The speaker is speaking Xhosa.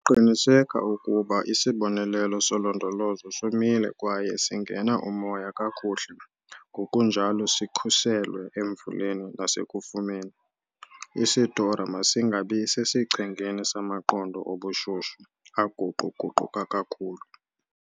Qiniseka ukuba isibonelelo solondolozo somile kwaye singena umoya kakuhle ngokunjalo sikhuselwe emvuleni nasekufumeni. Isitora masingabi sesichengeni samaqondo obushushu aguqu-guquka kakhulu.